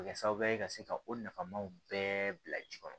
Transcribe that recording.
Kɛ sababu ye ka se ka o nafamaw bɛɛ bila ji kɔnɔ